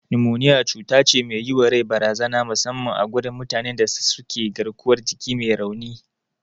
Numoniya cutace me yiwa rai barazana musamman a gurin mutane da suke garkuwar jiki me rauni.